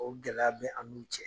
O gɛlɛya bɛ an n'u cɛ.